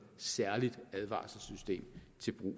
set at vi